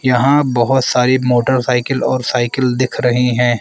यहां बहुत सारी मोटरसाइकिल और साइकिल दिख रही हैं।